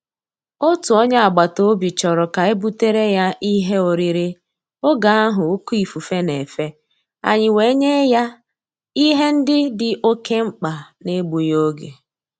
Òtù ónyé ágbàtàòbì chọrọ ka e butere ya ìhè órírí ògè ahụ òké ífùfé na-efe, ànyị́ wèé nyé yá ìhè ndị́ dì òké mkpá n’égbúghị́ ògè.